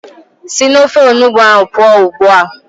Sị n'ofe onugbu ahụ pụọ ugbu a!